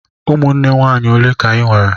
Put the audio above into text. Ụmụnne nwaanyị ole ka ị nwere?